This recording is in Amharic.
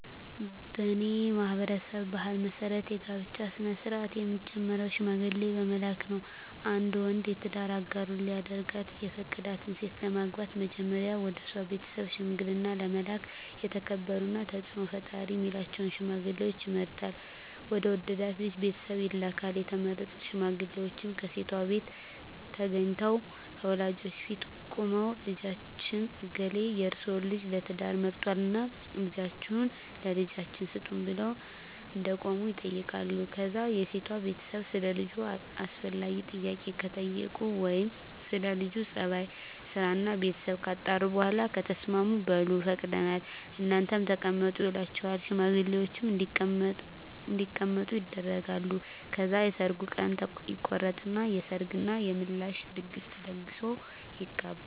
በኔ ማህበረሰብ ባህል መሰረት የጋብቻ ስነ-ስርአት የሚጀምረው ሽምግልና በመላክ ነው። አንድ ወንድ የትዳር አጋሩ ሊያደርጋት የፈቀዳትን ሴት ለማግባት መጀመሪያ ወደሷ ቤተሰብ ሽምግልና ለመላክ የተከበሩና ተጽኖ ፈጣሪ ሚላቸውን ሽማግሌወች ይመርጥና ወደ ወደዳት ልጅ ቤተሰብ ይልካል፣ የተመረጡት ሽማግሌወችም ከሴቷቤት ተገንተው ከወላጆቿ ፊት ቁመው ልጃችን እገሌ የርሰወን ልጅ ለትዳር መርጧልና ልጃችሁን ለልጃችን ስጡን ብለው እንደቆሙ ይጠይቃሉ ከዛ የሴቷ ቤተሰብ ሰለ ልጁ አስፈላጊውን ጥያቄ ከጠየቁ ወይም ስለ ለጁ ጸባይ፣ ስራና ቤተሰቡ ካጣሩ በኋላ ከተስማሙ በሉ ፈቅደናል እናንተም ተቀመጡ ይሏቸውና ሽማግሌወችን እንዲቀመጡ ያደርጋሉ። ከዛ የሰርጉ ቀን ይቆረጥና የሰርግ እና የምላሽ ድግስ ተደግሶ ይጋባሉ።